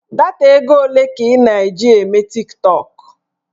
Data ego ole ka ị na-eji eme tiktọk?